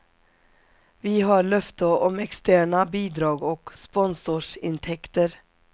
Vi har löfte om externa bidrag och sponsorsintäkter.